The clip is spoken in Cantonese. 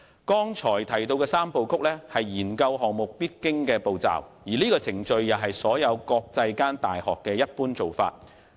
剛才提到的三步曲，是研究項目的必經步驟；這個程序也是國際間大學的一般做法。